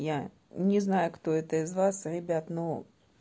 я не знаю кто это из вас ребят ну